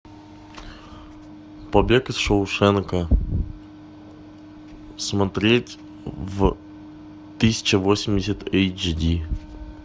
побег из шоушенка смотреть в тысяча восемьдесят эйч ди